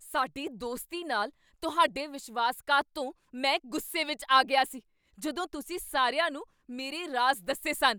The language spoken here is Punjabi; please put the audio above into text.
ਸਾਡੀ ਦੋਸਤੀ ਨਾਲ ਤੁਹਾਡੇ ਵਿਸ਼ਵਾਸਘਾਤ ਤੋਂ ਮੈਂ ਗੁੱਸੇ ਵਿੱਚ ਆ ਗਿਆ ਸੀ, ਜਦੋਂ ਤੁਸੀਂ ਸਾਰਿਆਂ ਨੂੰ ਮੇਰੇ ਰਾਜ਼ ਦੱਸੇ ਸਨ।